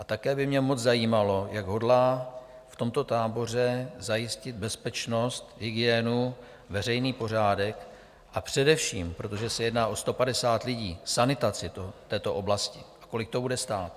A také by mě moc zajímalo, jak hodlá v tomto táboře zajistit bezpečnost, hygienu, veřejný pořádek a především, protože se jedná o 150 lidí, sanitaci této oblasti, a kolik to bude stát.